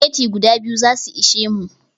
Spaghetti guda biyu zasu ishe mu